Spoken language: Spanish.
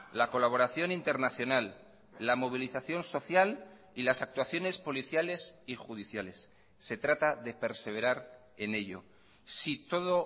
la colaboración internacional la movilización social y las actuaciones policiales y judiciales se trata de perseverar en ello si todo